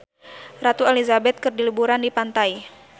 Ratu Elizabeth keur liburan di pantai